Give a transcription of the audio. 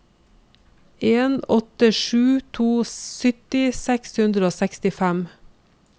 en åtte sju to sytti seks hundre og sekstifem